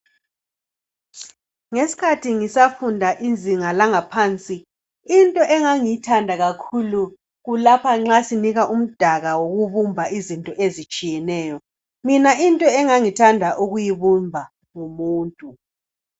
Ngesikhathi ngisafunda izinga langaphansi, into engangiyithanda kakhulu kulapha esasinikwa umdaka wokubumba. Mina into engangiyithanda yikubumba umuntu.